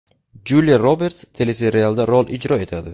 Juliya Roberts teleserialda rol ijro etadi.